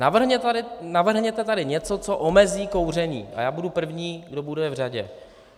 Navrhněte tady něco, co omezí kouření, a já budu první, kdo bude v řadě.